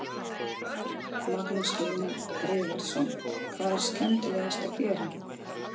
Magnús Hlynur Hreiðarsson: Hvað er skemmtilegast að gera?